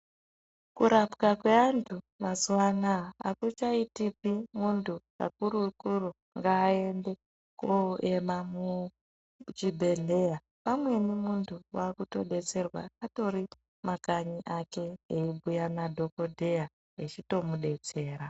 Ku rapwa kwe antu mazuva anaya akucha itiki muntu akuru kuru ngaende ko ema mu chibhedhleya pamweni muntu akuto detserwa atori mu makanyi ake eyi bhuya na dhokodheya echito mudetsera.